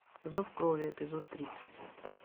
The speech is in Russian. зов крови эпизод тридцать